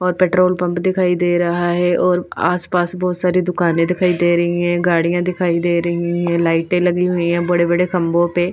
और petrol pump दिखाई दे रहा है और आसपास बहुत सारी दुकानें दिखाई दे रही हैं गाड़ियां दिखाई दे रही हैं लाइटें लगी हुई हैं बड़े-बड़े खंबों पे--